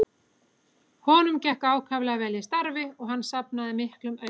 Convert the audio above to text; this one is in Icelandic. Honum gekk ákaflega vel í starfi og hann safnaði miklum auði.